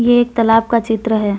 ये एक तालाब का चित्र है।